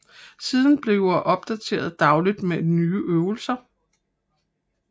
Siden bliver opdateret dagligt med nye øvelser